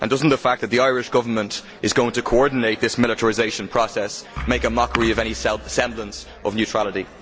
And does the fact that the Irish Government is going to coordinate this militarisation process not make a mockery of any semblance of neutrality?